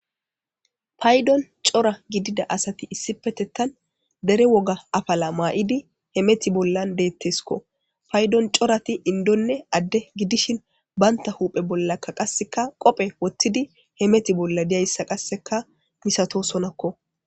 Paydon cora gidida asati issippetettan dere woga afala ma'idi hemeththi bollan deettesikko. Paydon corati inddonne adde gidishin banta huphphe bolla qassikka qophe wottidi hemeti bolla de'izayssa qassekka misatosonakko.